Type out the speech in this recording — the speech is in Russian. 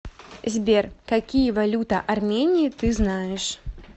сбер какие валюта армении ты знаешь